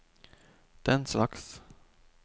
denslags